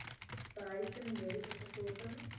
behuising mediese versorging